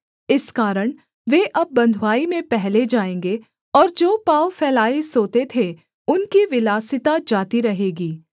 इस कारण वे अब बँधुआई में पहले जाएँगे और जो पाँव फैलाए सोते थे उनकी विलासिता जाती रहेगी